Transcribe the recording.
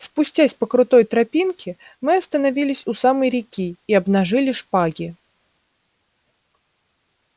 спустясь по крутой тропинке мы остановились у самой реки и обнажили шпаги